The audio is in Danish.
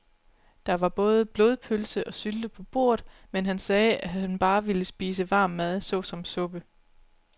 Der var både blodpølse og sylte på bordet, men han sagde, at han bare ville spise varm mad såsom suppe.